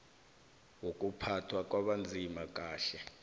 wokuphathwa kwabanzima kanye